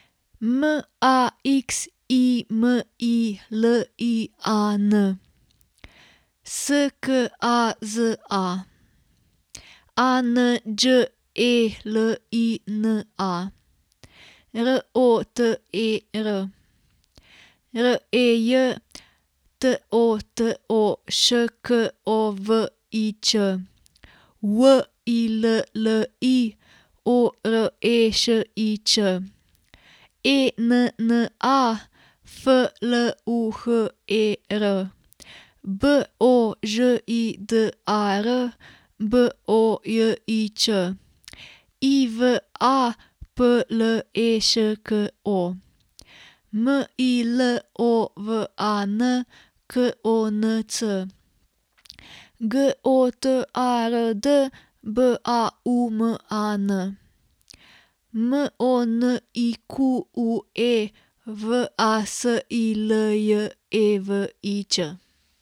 M A X I M I L I A N, S K A Z A; A N Đ E L I N A, R O T E R; R E J, T O T O Š K O V I Ć; W I L L I, O R E Š I Č; E N N A, F L U H E R; B O Ž I D A R, B O J I Č; I V A, P L E Š K O; M I L O V A N, K O N C; G O T A R D, B A U M A N; M O N I Q U E, V A S I L J E V I Č.